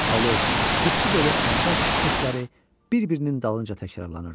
Alov, tüstü dolu, atəş səsləri bir-birinin dalınca təkrarlanırdı.